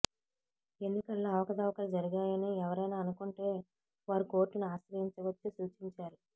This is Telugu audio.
ఎన్నికల్లో అవకతవకలు జరిగాయని ఎవరైనా అనుకుంటే వారు కోర్టును ఆశ్రయించవచ్చు సూచించారు